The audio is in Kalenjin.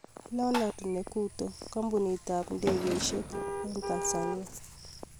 Leonard Nekuto kampunit ab ndegesiek Tanzania